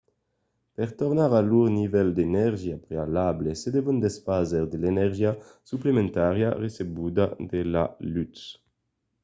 per tornar a lor nivèl d’energia prealable se devon desfar de l’energia suplementària recebuda de la lutz